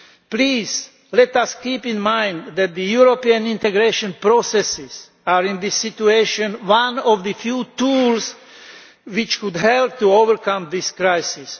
Please, let us keep in mind that the European integration processes are in this situation one of the few tools which could help to overcome this crisis.